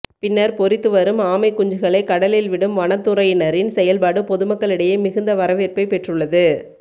பின்னர் பொரித்து வரும் ஆமைக் குஞ்சுகளை கடலில் விடும் வனத்துறையினரின் செயல்பாடு பொதுமக்களிடையே மிகுந்த வரவேற்பை பெற்றுள்ளது